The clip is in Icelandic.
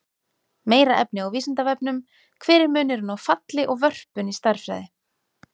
Meira efni á Vísindavefnum: Hver er munurinn á falli og vörpun í stærðfræði?